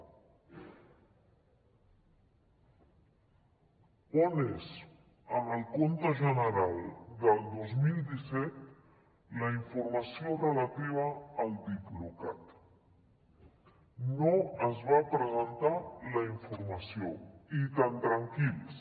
on és en el compte general del dos mil disset la informació relativa al diplocat no es va presentar la informació i tan tranquils